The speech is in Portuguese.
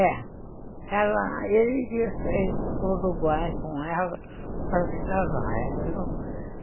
É, ele quis sair para o Uruguai com ela para se casar, ela não quis.